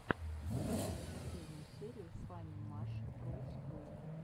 покажи мне последнюю серию фаннимашрумсскул